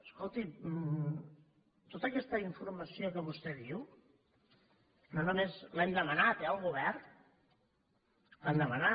escolti’m tota aquesta informació que vostè diu no només l’hem demanat eh al govern l’hem demanat